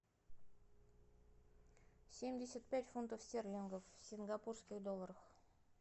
семьдесят пять фунтов стерлингов в сингапурских долларах